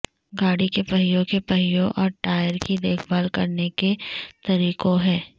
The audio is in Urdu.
گاڑی کے پہیوں کے پہیوں اور ٹائر کی دیکھ بھال کرنے کے طریقوں ہیں